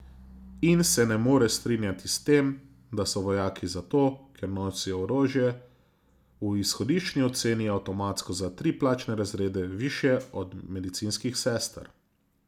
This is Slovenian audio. In se ne more strinjati s tem, da so vojaki zato, ker nosijo orožje, v izhodiščni oceni avtomatsko za tri plačne razrede višje od medicinskih sester.